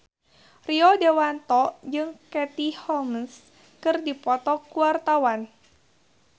Rio Dewanto jeung Katie Holmes keur dipoto ku wartawan